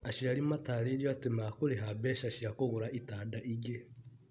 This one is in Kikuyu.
Aciari matarĩirio atĩ makũrĩha mbeca cia kũgũra itanda ingĩ.